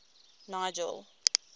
nigel